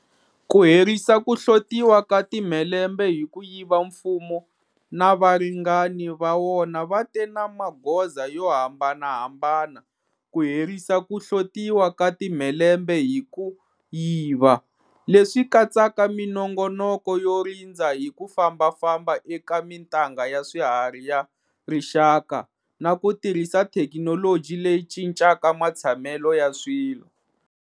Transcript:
Ku herisa ku hlotiwa ka timhelembe hi ku yiva Mfumo na varingani va wona va te na magoza yo hambanahambana ku herisa ku hlotiwa ka timhelembe hi ku yiva, leswi katsaka minongonoko yo rindza hi ku fambafamba eka mitanga ya swiharhi ya rixaka na ku tirhisa thekinoloji leyi cincaka matshamelo ya swilo.